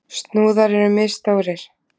Snúðar eru misstórir.